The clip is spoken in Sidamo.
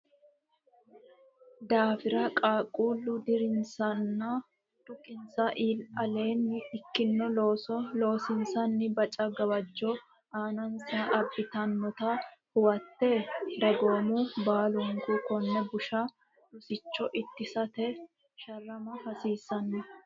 daafira qaaqquulle dirinsanna dhukinsa aleenni ikkino looso loosiisa baca gawajjo aanansa abbitannota huwate dagoomu baalunku konne busha rosicho ittisate sharrama hasiissanno.